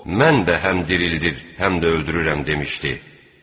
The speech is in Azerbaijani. Mən də həm dirildir, həm də öldürürəm demişdi.